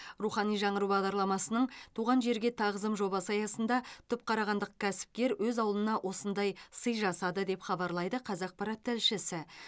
рухани жаңғыру бағдарламасының туған жерге тағзым жобасы аясында түпқарағандық кәсіпкер өз ауылына осындай сый жасады деп хабарлайды қазақпарат тілшісі